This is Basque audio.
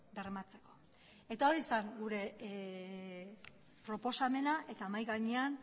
bermatzeko eta hori zen gure proposamena eta mahai gainean